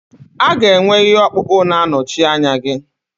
A ga-enwe ihe ọkpụkpụ na-anọchi anya gị.